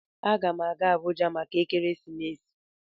A gam aga Abuja maka ekeresimesi.